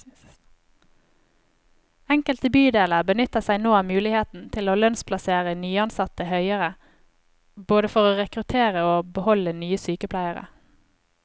Enkelte bydeler benytter seg nå av muligheten til å lønnsplassere nyansatte høyere, både for å rekruttere og beholde nye sykepleiere.